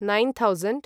nine thousand